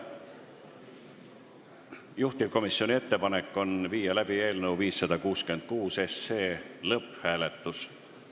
Juhtivkomisjoni ettepanek on viia läbi eelnõu 566 lõpphääletus.